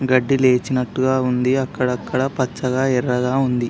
గడ్డి లేచినట్టు గ ఉంది అక్కడక్కడా పచ్చగా ఎర్రగా ఉంది.